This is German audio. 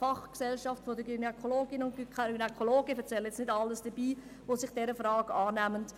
Es betrifft auch die Fachgesellschaft der Gynäkologinnen und Gynäkologen und überhaupt all jene Personen, die sich dieser Frage annehmen.